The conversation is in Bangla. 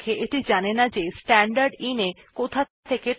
তাহলে আমরা দেখলাম কিভাবে স্ট্যান্ডার্ড ইনপুট পুননির্দেশনা করা যায়